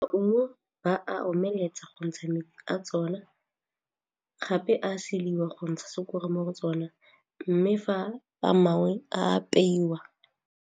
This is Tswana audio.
Ba a omeletsa go ntsha a tsona gape a seliwa go ntsha mo go tsona mme fa a mangwe a apeiwa.